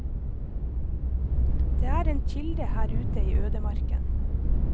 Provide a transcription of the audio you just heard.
Det er en kilde her ute i ødemarken.